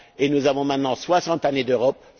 Nous avons maintenant soixante années d'Europe